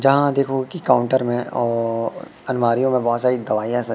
यहां देखोगे कि काउंटर में अह अलमारियों में बहुत सारी दवाईयां स--